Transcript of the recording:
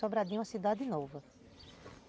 Sobradinho é uma cidade nova.